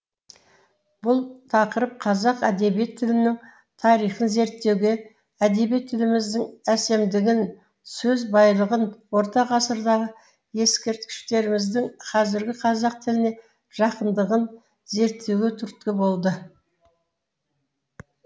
бұл тақырып қазақ әдебиет тілінің тарихын зерттеуге әдеби тіліміздің әсемдігін сөз байлығын орта ғасырдағы ескерткіштеріміздің қазіргі қазақ тіліне жақындығын зерттеуге түрткі болды